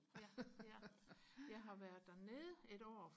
ja ja jeg har været dernede et år